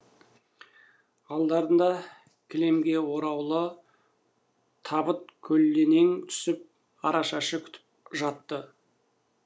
алдарында кілемге ораулы табыт көлденең түсіп арашашы күтіп жатты